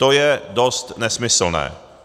To je dost nesmyslné.